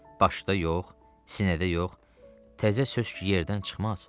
Başda yox, sinədə yox, təzə söz yerdən çıxmaz.